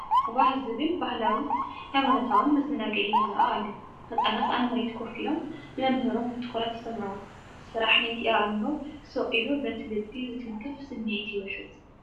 ባህ ዘብል ባህላዊን ሃይማኖታውን መዘናግዒ ይረአ ኣሎ፤ ህጻናት ኣብ መሬት ኮፍ ኢሎም ንመምህሮም ብትኹረት ይሰምዕዎ፤ ስራሕ ናይቲ ኣእምሮ ስቕ ኢሉ በቲ ልቢ ዝትንክፍ ስምዒት ይውሕዝ።